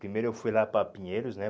Primeiro eu fui lá para Pinheiros, né?